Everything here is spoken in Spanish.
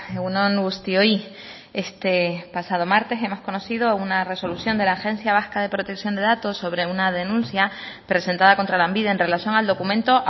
egun on guztioi este pasado martes hemos conocido una resolución de la agencia vasca de protección de datos sobre una denuncia presentada contra lanbide en relación al documento